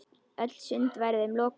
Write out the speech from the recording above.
Öll sund væru þeim lokuð.